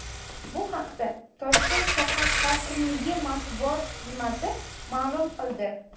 Bu haqda Toshkent shahar hokimligi matbuot xizmati ma’lum qildi .